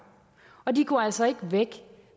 og de går altså ikke væk